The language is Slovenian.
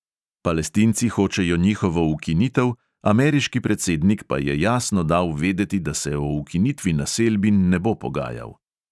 Palestinci hočejo njihovo ukinitev, ameriški predsednik pa je jasno dal vedeti, da se o ukinitvi naselbin ne bo pogajal.